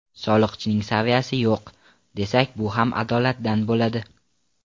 Soliqchining saviyasi yo‘q, desak bu ham adolatdan bo‘ladi.